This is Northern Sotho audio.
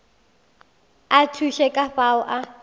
a thuše ka fao a